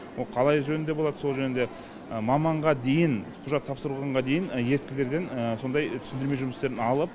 қалай жөнінде болады сол жөнінде маманға дейін құжат тапсырылғанға дейін еріктілерден сондай түсіндірме жұмыстерын алып